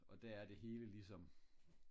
og der er det hele ligesom